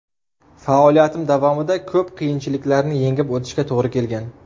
Faoliyatim davomida ko‘p qiyinchiliklarni yengib o‘tishga to‘g‘ri kelgan.